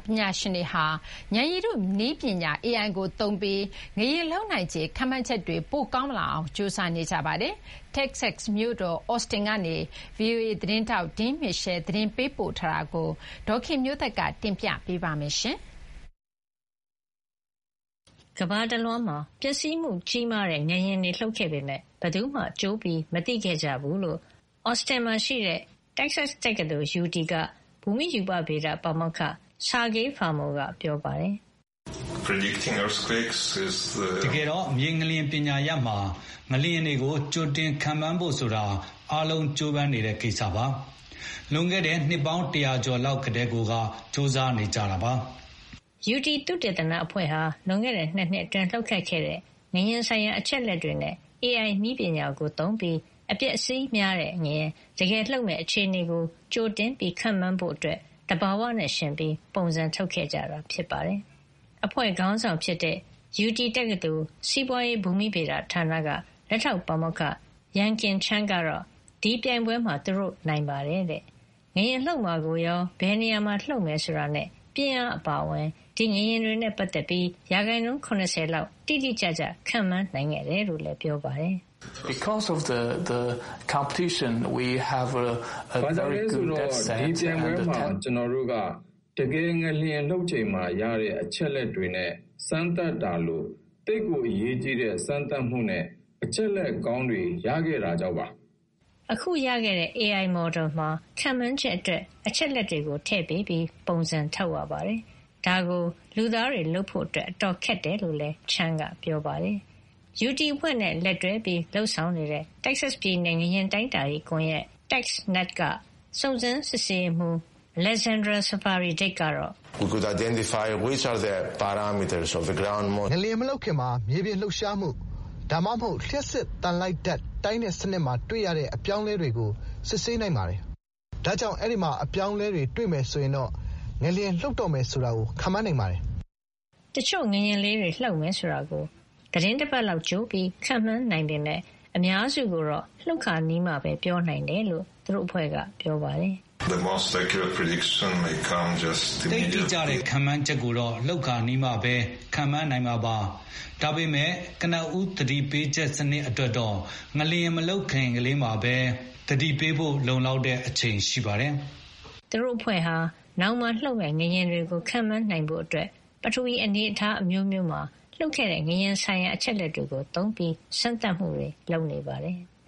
ပညာရှင်တွေဟာ ဉာဏ်ရည်တုနည်းပညာ AI ကိုသုံးပြီး ငလျင်လှုပ်နိုင်ခြေခန့်မှန်းချက်တွေ ပိုကောင်းလာအောင် ကြိုးစားနေကြပါတယ်။ တက္ကဆက်စ် မြို့တော် Austin ကနေ VOA သတင်းထောက် Dean Mitchell သတင်းပေးပို့ထားတာကို ဒေါ်ခင်မျိုးသက်က တင်ပြပေးထားပါတယ်။ ကမ္ဘာတလွှားမှာ ပျက်စီးမှုကြီးမားတဲ့ ငလျင်တွေလှုပ်ခဲ့ပေမယ့် ဘယ်သူမှ ကြိုမသိခဲ့ကြဘူးလို့ Austin မှာရှိတဲ့ Texas တက္ကသိုလ် UT က ဘူမိ-ရူပဗေဒ ပါမောက္ခ Sergey Fomel ကပြောပါတယ်။ "တကယ်တော့ မြေငလျင်ပညာရပ်မှာ ငလျင်တွေကို ကြိုတင်ခန့်မှန်းဖို့ဆိုတာ အားလုံး ကြိုးပမ်းနေတဲ့ကိစ္စပါ။ လွန်ခဲ့တဲ့ နှစ်ပေါင်း တရာကျော်လောက်ကတည်းကိုက ကြိုးစားနေကြတာပါ။" UT သုတေသနအဖွဲ့ဟာ လွန်ခဲ့တဲ့ ၂ နှစ်အတွင်း လှုပ်ခတ်ခဲ့တဲ့ ငလျင်ဆိုင်ရာ အချက်အလက်တွေနဲ့ AI နည်းပညာကိုသုံးပြီး အပျက်အစီးများတဲ့ငလျင် တကယ်လှုပ်မယ့်အခြေအနေကို ကြိုတင်ခန့်မှန်းဖို့ သဘာဝနဲ့ယှဉ်ပြိုင်ပြီး ပုံစံထုတ်ခဲ့ကြတာ ဖြစ်ပါတယ်။ အဖွဲ့ခေါင်းဆောင် UT တက္ကသိုလ် စီးပွါးရေးဘူမိဗေဒဌာနက လက်ထောက်ပါမောက္ခ Yangkang Chen ကတော့ ဒီပြိုင်ပွဲမှာ သူတို့ နိုင်ပါတယ်တဲ့။ ငလျင်လှုပ်မှာကိုရော ဘယ်နေရာမှာလှုပ်မယ်ဆိုတာနဲ့ ပြင်းအားအပါအဝင် ဒီငလျင်တွေနဲ့ပတ်သက်ပြီး ရာနှုန်း ၇၀ လောက် တိတိကျကျ ခန့်မှန်းနိုင်ခဲ့တယ်လို့ ပြောပါတယ်။ “ဘာကြောင့်လဲဆိုတော့ ဒီပြိုင်ပွဲမှာ ကျနော်တို့က တကယ် ငလျင်လှုပ်ချိန်မှာရတဲ့ အချက်လက်တွေနဲ့ စမ်းသပ်တာလို - သိပ်ကိုအရေးကြီးတဲ့စမ်းသပ်မှုနဲ့ အချက်လက်ကောင်းတွေ ရခဲ့တာကြောင့်ပါ။” အခု ရခဲ့တဲ့ AI မော်ဒယ်မှာ ခန့်မှန်းချက်အတွက် အချက်လက်တွေထည့်ပေးပြီး ပုံစံထုတ်ရပါတယ်။ ဒါကို လူသားတွေလုပ်ဖို့ အတော်ခက်တယ်လို့လည်း Chen က ပြောပါတယ်။ UT အဖွဲ့နဲ့ လက်တွဲဆောင်ရွက်နေတဲ့ တက္ကဆက်စ် ပြည်နယ် ငလျင်တိုင်းတာရေးကွန်ယက် TexNet က စုံစမ်းစစ်ဆေးရေးမှူး Alexandros Savvaidis ကတော့- "ငလျင်မလှုပ်ခင်မှာ မြေပြင်လှုပ်ရှားမှု ဒါမှမဟုတ် လျှပ်စစ်သံလိုက်ဓါတ် တိုင်းတဲ့ စနစ်မှာတွေ့ရတဲ့ အပြောင်းအလဲတွေကို စစ်ဆေးနိုင်ပါတယ်။ ဒါကြောင့် အဲဒီမှာ အပြောင်းအလဲတွေ တွေ့မယ်ဆိုရင်တော့ ငလျင်လှုပ်တော့မယ်ဆိုတာ ခန့်မှန်းနိုင်ပါတယ်။" တချို့ ငလျင်လေးတွေလှုပ်မယ်ဆိုတာကို သီတင်းတပတ်လောက် ကြိုပြီး ခန့်မှန်း နိုင်ပေမယ့် အများစုကိုတော့ လှုပ်ခါနီးမှပဲပြောနိုင်တယ်လို့ သူတို့အဖွဲ့က ပြောပါတယ်။ “သိပ်တိကျတဲ့ ခန့်မှန်းချက်ကိုတော့ လှုပ်ခါနီးမှပဲ ခန့်မှန်းနိုင်မှာပါ။ ဒါပေမယ့် ကနဦး သတိပေးချက် စံနစ် အတွက်တော့ ငလျင်မလှုပ်ခင်ကလေးမှာပဲ သတိပေးဖို့ လုံလောက်တဲ့ အချိန်ရှိပါတယ်။” သူတို့အဖွဲ့ဟာ နောင်မှာလှုပ်မယ့်ငလျင်တွေကိုခန့်မှန်းနိုင်ဖို့အတွက် ပထဝီ အနေထားအမျိုးမျိုးမှာ လှုပ်ခဲ့တဲ့ ငလျင်ဆိုင်ရာအချက်လက်တွေကိုသုံးပြီး စမ်းသပ်မှုတွေ လုပ်နေပါတယ်။